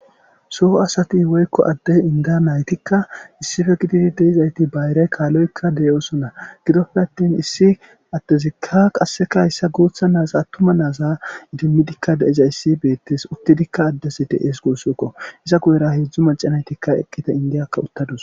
Soho asati woykko addey inda naytikka issife gitidi deizayti bayrey kaaloykka deyosona gidoppe attin issi attezikka qasseka hyssa guutha naasa attuma naasa idimmidikka deiza issi beettes uttidikka addesi de7es guussokko iza guyera heedzdzu maca naytikka eqqita indiyakka uttadus.